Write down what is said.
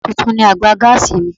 Tuntun ni àgbà gáàsì mi.